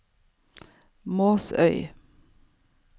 Måsøy